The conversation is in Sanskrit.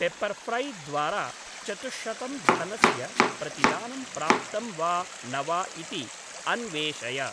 पेप्पर्फ्रै द्वारा चतुश्शतं धनस्य प्रतिदानं प्राप्तं वा न वा इति अन्वेषय।